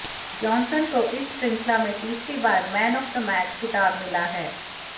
Johnson को इस शृंखला में तीसरी बार मैन ऑफ द मैच खिताब मिला है